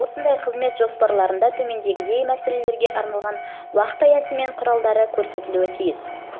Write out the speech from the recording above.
осындай қызмет жоспарларында төмендегідей мәселелерге арналған уақыт аясы мен құралдары көрсетілуі тиіс мониторинг мақсатын жалпы мемлекеттік және аумақтық